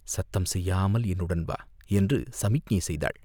சத்தம் செய்யாமல் என்னுடன் வா என்று சமிக்ஞை செய்தாள்.